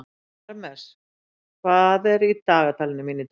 Parmes, hvað er í dagatalinu mínu í dag?